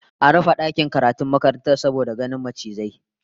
An rufe dakin karatun makarantar saboda ganin macizai